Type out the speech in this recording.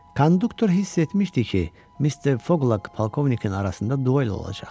Konduktor hiss etmişdi ki, Mister Foqla polkovnikin arasında duel olacaq.